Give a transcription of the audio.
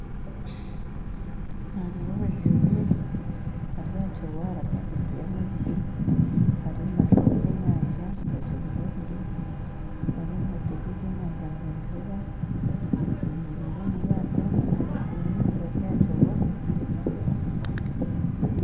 Naareeba abajubi bari aha kirwa bari ahagati y'amaizi bariyo nibaziha ebyenyanja, abajubili babiri, bariyo nibatega ebyenyanja nibabijuba bemereire omu ryato ahagati y'amaizi bari aha kirwa